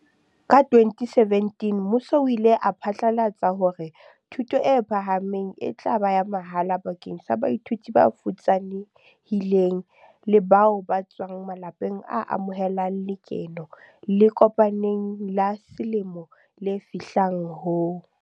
Ka 2017 mmuso o ile wa phatlalatsa hore thuto e phahameng e tla ba ya mahala bakeng sa baithuti ba futsane hileng le bao ba tswang ma lapeng a amohelang lekeno le kopaneng la selemo le fihlang ho